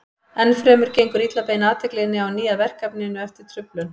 Enn fremur gengur illa að beina athyglinni á ný að verkefninu eftir truflun.